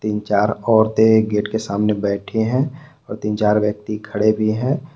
तीन चार औरतों गेट के सामने बैठी हैं और तीन चार व्यक्ति खड़े भी हैं।